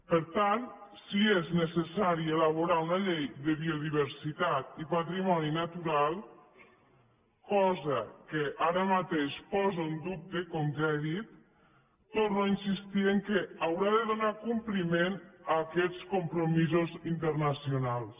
per tant si és necessari elaborar una llei de biodiversitat i patrimoni natural cosa que ara mateix posa en dubte com ja he dit torno a insistir en el fet que haurà de donar compliment a aquests compromisos internacionals